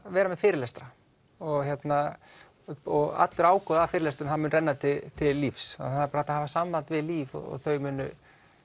vera með fyrirlestra og og allur ágóði af fyrirlestrunum mun renna til lífs það er bara að hafa samband við Líf og þau munu